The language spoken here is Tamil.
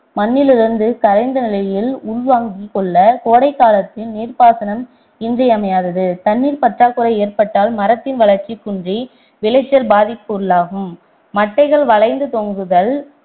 மண்ணிலிருந்து கரைந்த நிலையில் உள்வாங்கி கொள்ள கோடைக் காலத்தில் நீர்ப்பாசனாம் இன்றியமையாதது தண்ணீர் பற்றாக்குறை ஏற்பட்டால் மரத்தின் வளர்ச்சி குன்றி விளைச்சல் பாதிப்புக்குள்ளாகும் மட்டைகள் வளைந்து தொங்குதல்